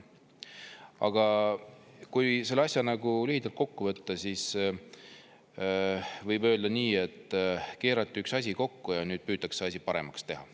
Aga kui selle asja nagu lühidalt kokku võtta, siis võib öelda nii, et keerati üks asi kokku ja nüüd püütakse asi paremaks teha.